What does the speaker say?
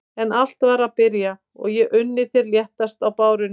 En allt var að byrja og ég unni þér létt á bárunni.